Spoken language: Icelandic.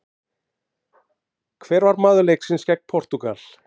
Hver var maður leiksins gegn Portúgal?